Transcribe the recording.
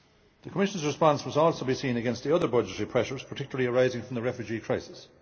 The Commission's response must also be seen against the other budgetary pressures, particularly arising from the refugee crisis.